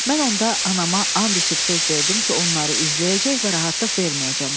Mən onda anama and içib söz verdim ki, onları izləyəcək və rahatlıq verməyəcəm.